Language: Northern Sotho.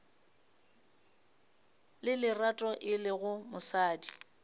le lerato e lego mosadi